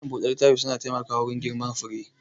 Malam buɗe littafi na taimkawa wurin girman fure